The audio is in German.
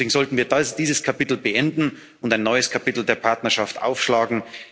Deswegen sollten wir dieses Kapitel beenden und ein neues Kapitel der Partnerschaft aufschlagen.